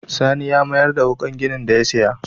Sani ya mayar da wuƙar ginin da ya saya.